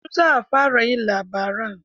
Yanzu za a fara yin labaran.